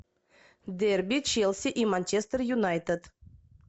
дерби челси и манчестер юнайтед